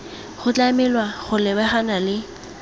go tlamelwa go lebagana le